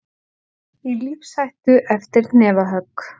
Í lífshættu eftir hnefahögg